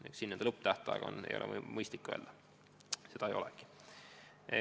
Nii et siin lõpptähtaega ei ole mõistlik pakkuda, seda ei olegi.